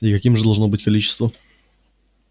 и каким же должно быть количество